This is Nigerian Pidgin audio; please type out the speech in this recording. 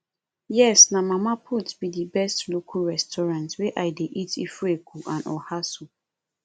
yes na mama put be di best local restaurant wey i dey eat ofeakwu and oha soup